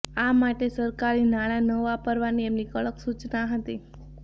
આ માટે સરકારી નાણાં ન વાપરવાની એમની કડક સૂચના હતી